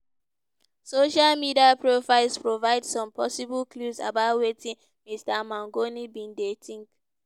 social media profiles provide some possible clues about wetin mr mangione bin dey think.